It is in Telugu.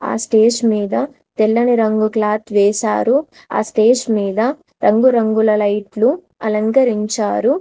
ఆ స్టేజ్ మీద తెల్లని రంగు క్లాత్ వేశారు. ఆ స్టేజ్ మీద రంగురంగుల లైట్ లు అలంకరించారు.